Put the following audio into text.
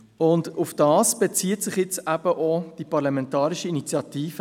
Darauf bezieht sich eben die hier vorliegende Parlamentarische Initiative.